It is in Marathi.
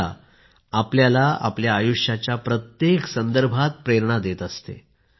गीता आपल्याला आपल्या आयुष्याच्या प्रत्येक संदर्भात प्रेरणा देत असते